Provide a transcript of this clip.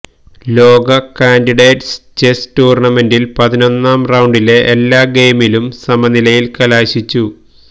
ലോക candidates chess ടൂര്ണമെന്റില് പതിനൊന്നാം റൌണ്ടിലെ എല്ലാ ഗെയിമുകളും സമനിലയില് കലാശിച്ചു